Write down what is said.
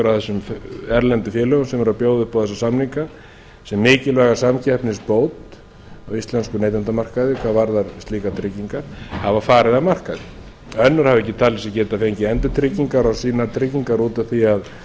af þessum erlendu félögum sem eru að bjóða upp á þessa samninga sem mikilvæga samkeppnisbót á íslenskum neytendamarkaði hvað varðar slíkar tryggingar hafa farið af markaði önnur hafa ekki talið sig geta fengið endurtryggingar á sínar tryggingar út af því að